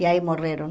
E aí morreram.